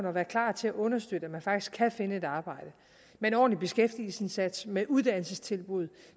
og være klar til at understøtte at man rent faktisk kan finde et arbejde med en ordentlig beskæftigelsesindsats med uddannelsestilbud